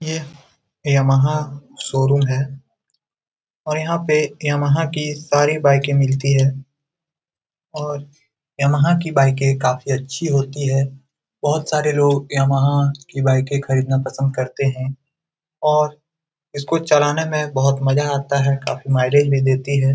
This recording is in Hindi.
ये यमहा शोरूम है और यहाँ पे यमहा की सारी बाइकें मिलती हैं और यमहा की बाइकें काफी अच्छी होती हैं । बहोत सारे लोग यमहा की बाइकें खरीदना पसंद करते हैं और इसको चलाने में बहोत मजा आता है । काफी माइलेज भी देती है ।